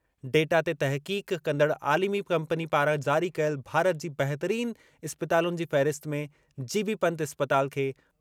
data ते तहक़ीक़ कंदड़ आलिमी कंपनी पारां जारी कयल भारत जी बहितरीन इस्पतालुनि जी फ़हिरिस्त में जी.बी.इस्पताल खे